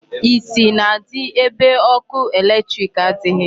Isi na-adị ebe ọkụ electric adịghị.